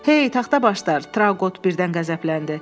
Hey, taxtabaşlar, Trauqot birdən qəzəbləndi.